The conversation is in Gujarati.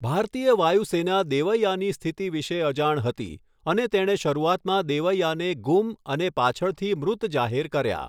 ભારતીય વાયુસેના દેવૈઆની સ્થિતિ વિશે અજાણ હતી અને તેણે શરૂઆતમાં દેવૈઆને ગુમ અને પાછળથી મૃત જાહેર કર્યા.